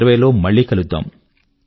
2020 లో మళ్ళీ కలుద్దాం